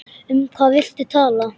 Um hvað viltu tala?